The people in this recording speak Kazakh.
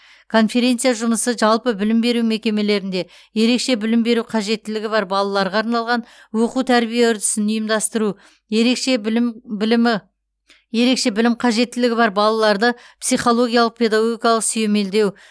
конференция жұмысы жалпы білім беру мекемелерінде ерекше білім беру қажеттілігі бар балаларға арналған оқу тәрбие үрдісін ұйымдастыру ерекше білім білімі ерекше білім қажеттілігі бар балаларды психологиялық педагогикалық сүйемелдеу